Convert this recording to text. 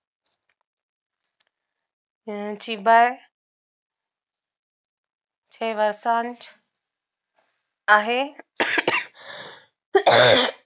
यांची बाळ ठेव सांज आहे